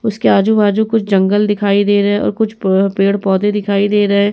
उसके आजु-बाजु कुछ जंगल दिखाई दे रहे और कुछ प पेड़ पौधे दिखाई दे रहे।